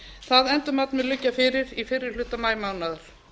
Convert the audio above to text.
það endurmat mun liggja fyrir í fyrri hluta maímánaðar